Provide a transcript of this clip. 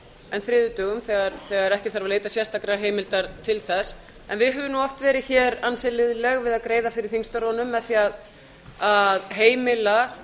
en þriðjudögum þegar ekki þarf að leita sérstakrar heimildar til þess en við höfum oft verið ansi liðleg við að greiða fyrir þingstörfunum með því að heimila